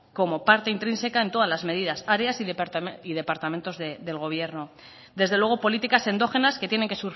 como parte intrínseca en todas las medidas áreas y departamentos del gobierno desde luego políticas endógenas que tienen que